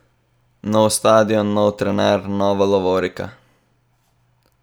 Nov stadion, nov trener, nova lovorika?